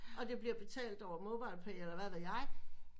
Og det bliver betalt over MobilePay eller hvad ved jeg